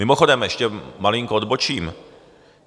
Mimochodem, ještě malinko odbočím.